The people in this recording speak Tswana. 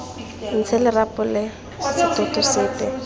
ntshe lerapo la setoto sepe